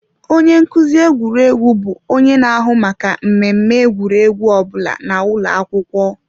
Onye nkuzi egwuregwu bụ onye na-ahụ maka mmemme egwuregwu ọ bụla na ụlọ akwụkwọ.